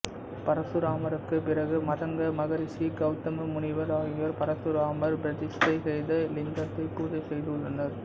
பரசுராமருக்கு பிறகு மதங்க மகரிஷி கவுதம முனிவர் ஆகியோர் பரசுராமர் பிரதிஷ்டை செய்த இலிங்கத்தை பூஜை செய்துள்ளனர்